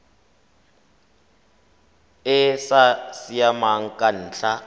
e sa siamang ka ntlha